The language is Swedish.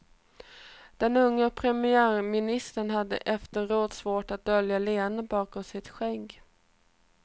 Den unge premiärministern hade efteråt svårt för att dölja leendet bakom sitt skägg.